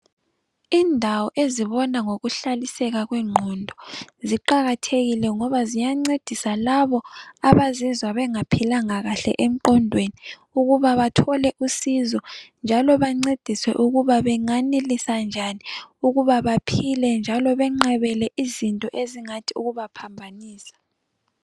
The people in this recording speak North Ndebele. Indawo ezibona ngokuhlaliseka kweqondo, ziqakathekile ngoba ziyancedisa labo abazizwa bengaphilanga kahle emqodweni ukuba bathole usizo. Njalo bancediswe ukuba banganelisa njani ukuba baphile, njalo beqabele izitho ezingathi ukubaphambanisa.